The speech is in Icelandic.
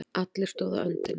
Allir stóðu á öndinni.